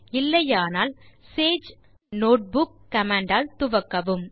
இல்லையெனில் Sage -notebook command ஆல் துவக்கவும்